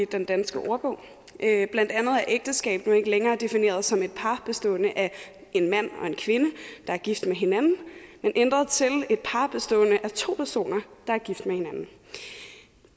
den danske ordbog blandt andet er ægteskab nu ikke længere defineret som et par bestående af en mand og en kvinde der er gift med hinanden det er ændret til et par bestående af to personer der er gift med hinanden